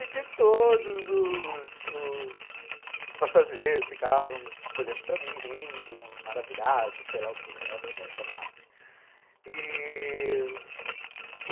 E que todos os os passageiros ficavam olhando para mim, rindo, maravilhados, sei lá o que, modéstia à parte.